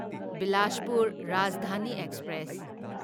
Bilaspur Rajdhani express